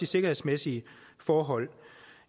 sikkerhedsmæssige forhold